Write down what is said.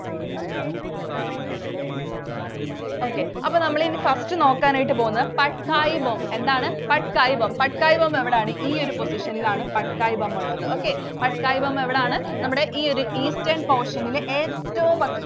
Okay. അപ്പോ നമ്മൾ ഇനി first നോക്കാനായിട്ട് പോകുന്നത് Patkai Bum എന്താണ്? Patkai Bum. Patkai Bum എവിടാണ്? ഈ ഒരു position ൽ ആണ് Patkai Bum ഉള്ളത്. Okay. Patkai Bum എവിടാണ്? നമ്മുടെ ഈ ഒരു Eastern portion ൽ ഏറ്റവും